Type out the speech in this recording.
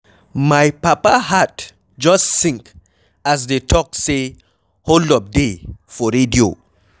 My papa heart just sink as dey talk say hold up dey for radio